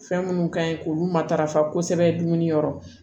Fɛn minnu ka ɲi k'olu matarafa kosɛbɛ dumuni yɔrɔ